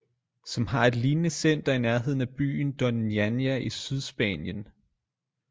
Som har et lignende center i nærheden af byen doñana i sydspanien